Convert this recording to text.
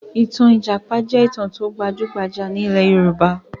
Ìtàn ní ìjàpá jẹ́ ìtàn tó gbajúgbajà ní ilẹ̀ Yorùbá